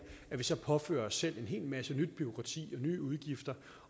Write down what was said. det så påfører os selv en hel masse nyt bureaukrati og nye udgifter